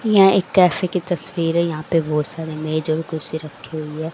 यह एक कैफे की तस्वीर है यहां पे बहुत सारे मेज और कुर्सी रखी हुई है।